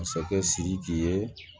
Masakɛ sidiki ye